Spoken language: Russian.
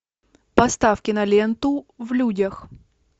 поставь киноленту в людях